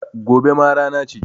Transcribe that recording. Gobe ma rana ce